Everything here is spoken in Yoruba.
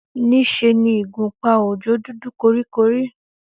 Níṣe ni ìgúnpá Òjó dúdú kọríkọrí